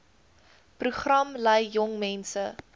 program lei jongmense